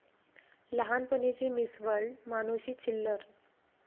लहानपणीची Miss World Manushi Chhillar!